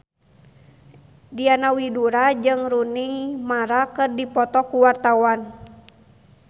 Diana Widoera jeung Rooney Mara keur dipoto ku wartawan